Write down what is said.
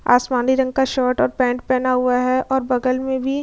आसमानी रंग का शर्ट और पैंट पहना हुआ है और बगल में भी --